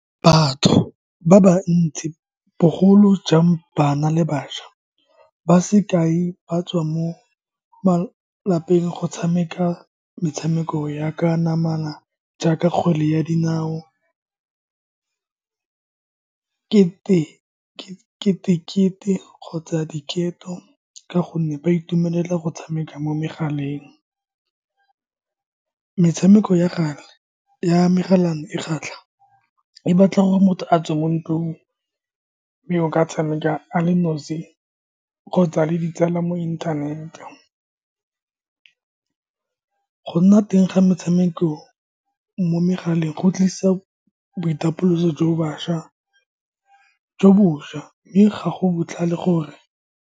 Batho ba ba ntsi, bogolo jang bana le bašwa, ba sekai ba tswa mo malapeng go tshameka metshameko ya ka namana jaaka kgwele ya dinao, kete ke kete-kete kgotsa diketo, ka gonne ba itumelela go tshameka mo megaleng. Metshameko ya gale ya megala e kgatlha, e batla gore motho a tswe mo ntlong. o ka tshameka a le nosi kgotsa le ditsala mo inthanete. Go nna teng ga metshameko mo megaleng go tlisa boitapoloso jo bašwa jo bosha, mme ga go botlhale gore.